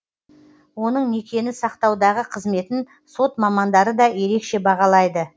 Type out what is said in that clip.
оның некені сақтаудағы қызметін сот мамандары да ерекше бағалайды